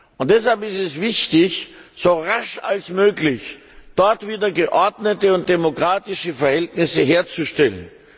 Und deshalb ist es wichtig, so rasch wie möglich dort wieder geordnete und demokratische Verhältnisse herzustellen.